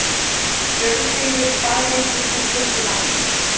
Björgheiður, hvað heitir þú fullu nafni?